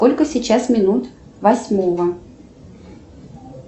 сколько сейчас минут восьмого